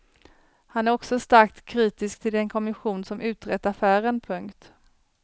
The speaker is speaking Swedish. Han är också starkt kritisk till den kommission som utrett affären. punkt